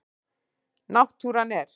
Náttúran er.